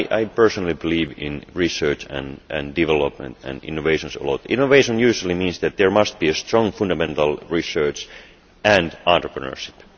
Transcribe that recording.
I personally believe in research and development and innovation. Innovation usually means that there must be strong fundamental research and entrepreneurship.